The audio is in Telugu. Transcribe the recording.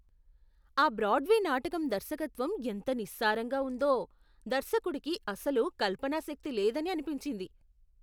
ఆ బ్రాడ్వే నాటకం దర్శకత్వం ఎంత నిస్సారంగా ఉందో. దర్శకుడికి అసలు కల్పనా శక్తి లేదని అనిపించింది.